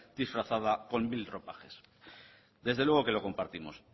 disfrazada con mil ropajes desde luego que lo compartimos